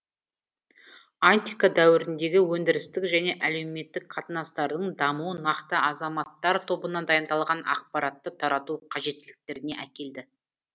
антика дәуіріндегі өндірістік және әлеуметтік қатынастардың дамуы нақты азаматтар тобына дайындалған ақпаратты тарату қажеттіліктеріне әкелді